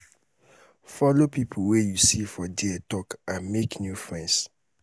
follow pipo wey you see there talk and make new friends